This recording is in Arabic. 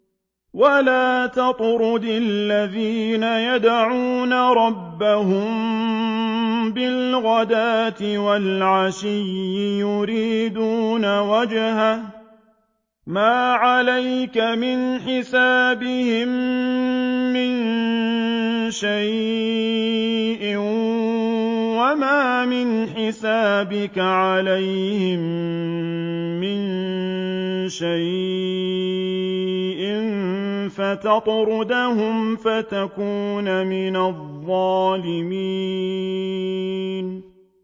وَلَا تَطْرُدِ الَّذِينَ يَدْعُونَ رَبَّهُم بِالْغَدَاةِ وَالْعَشِيِّ يُرِيدُونَ وَجْهَهُ ۖ مَا عَلَيْكَ مِنْ حِسَابِهِم مِّن شَيْءٍ وَمَا مِنْ حِسَابِكَ عَلَيْهِم مِّن شَيْءٍ فَتَطْرُدَهُمْ فَتَكُونَ مِنَ الظَّالِمِينَ